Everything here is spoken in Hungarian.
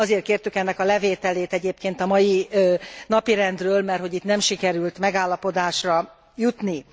Azért kértük ennek a levételét egyébként a mai napirendről, merthogy itt nem sikerült megállapodásra jutni.